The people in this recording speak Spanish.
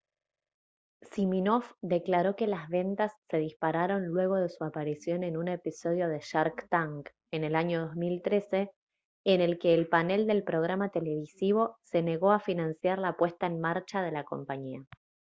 siminoff declaró que las ventas se dispararon luego de su aparición en un episodio de shark tank en el año 2013 en el que el panel del programa televisivo se negó a financiar la puesta en marcha de la compañía